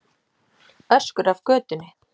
Öskur af götunni.